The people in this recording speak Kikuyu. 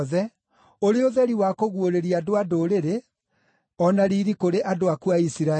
ũrĩ ũtheri wa kũguũrĩria andũ-a-Ndũrĩrĩ, o na riiri kũrĩ andũ aku a Isiraeli.”